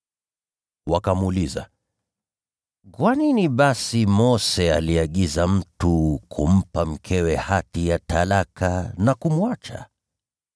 Wakamuuliza, “Kwa nini basi Mose aliagiza mtu kumpa mkewe hati ya talaka na kumwacha?”